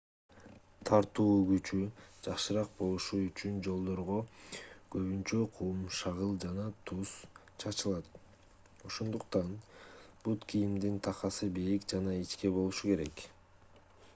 тартуу күчү жакшыраак болушу үчүн жолдорго көбүнчө кум шагыл жана туз кальций хлорид чачылат. ошондуктан бут кийимдин такасы бийик жана ичке болбошу керек